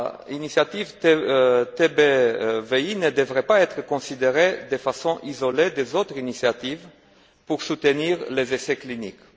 L'initiative TBVI ne devrait pas être considérée de façon isolée des autres initiatives pour soutenir les essais cliniques.